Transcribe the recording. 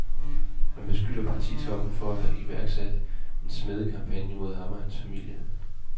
Han beskylder partitoppen for at have iværksat en smædekampagne mod ham og hans familie.